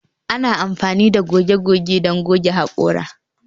Ana amfani da goge goge don goge haƙora